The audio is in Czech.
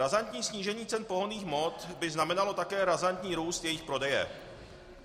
Razantní snížení cen pohonných hmot by znamenalo také razantní růst jejich prodeje.